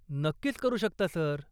नक्कीच करू शकता, सर.